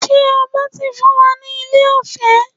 Ṣe ọba ti fún wa ní ilẹ̀ ọ̀fẹ́?